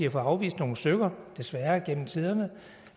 at afvise nogle stykker desværre igennem tiderne